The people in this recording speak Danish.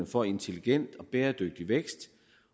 for intelligent og bæredygtig vækst